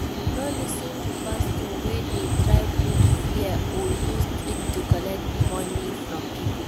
No lis ten to pastor wey de try put fear or use trick to collect money from pipo